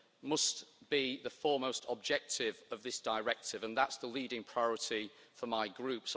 must be the foremost objective of this Directive, and thatʼs the leading priority for my Group.